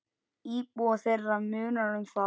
Íbúa þeirra munar um það.